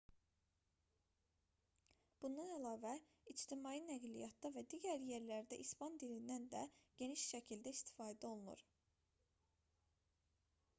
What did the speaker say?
bundan əlavə ictimai nəqliyyatda və digər yerlərdə i̇span dilindən də geniş şəkildə istifadə olunur